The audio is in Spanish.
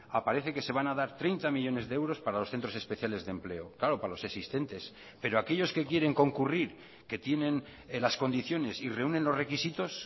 aparece que se van a dar treinta millónes de euros para los centros especiales de empleo claro para los existentes pero aquellos que quieren concurrir que tienen las condiciones y reúnen los requisitos